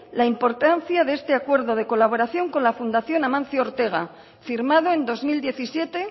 la importancia de este acuerdo de colaboración con la fundación amancio ortega firmado en dos mil diecisiete